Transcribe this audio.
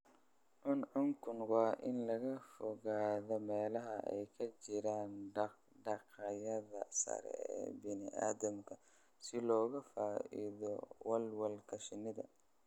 Cuncuncunku waa in laga fogaadaa meelaha ay ka jiraan dhaq-dhaqaaqyada sare ee bini'aadamka si looga fogaado walwalka shinnida.